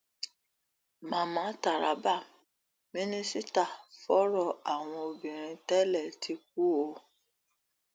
màmá taraba mínísítà fọrọ àwọn obìnrin tẹlẹ ti kú o